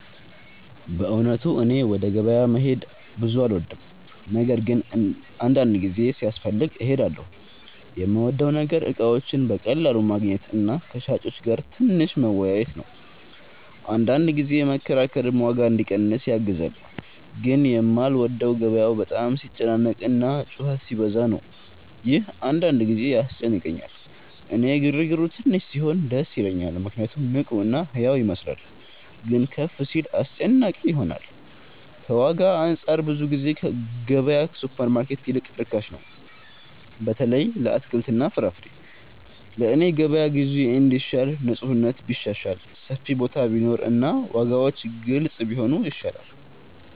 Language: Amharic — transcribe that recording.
በእውነቱ እኔ ወደ ገበያ መሄድ ብዙ አልወድም፤ ነገር ግን አንዳንድ ጊዜ ሲያስፈልግ እሄዳለሁ። የምወደው ነገር እቃዎችን በቀላሉ ማግኘት እና ከሻጮች ጋር ትንሽ መወያየት ነው፤ አንዳንድ ጊዜ መከራከርም ዋጋ እንዲቀንስ ያግዛል። ግን የማልወደው ገበያው በጣም ሲጨናነቅ እና ጩኸት ሲበዛ ነው፤ ይህ አንዳንድ ጊዜ ያስጨንቀኛል። እኔ ግርግሩ ትንሽ ሲሆን ደስ ይለኛል ምክንያቱም ንቁ እና ሕያው ይመስላል፤ ግን ከፍ ሲል አስጨናቂ ይሆናል። ከዋጋ አንፃር ብዙ ጊዜ ገበያ ከሱፐርማርኬት ይልቅ ርካሽ ነው፣ በተለይ ለአትክልትና ፍራፍሬ። ለእኔ የገበያ ግዢ እንዲሻል ንፁህነት ቢሻሻል፣ ሰፊ ቦታ ቢኖር እና ዋጋዎች ግልጽ ቢሆኑ ይሻላል።